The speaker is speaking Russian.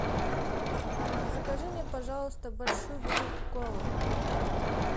закажи мне пожалуйста большую бутылку колы